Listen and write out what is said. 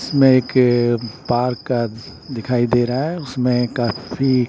इसमें एक पार्क का दिखाई दे रहा है उसमें काफी--